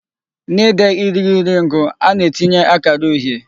N'ide irighiri ngụ, a na-etinye akara uhie.